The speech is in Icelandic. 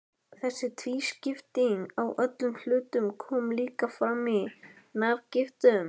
Þessi tvískipting á öllum hlutum kom líka fram í nafngiftum.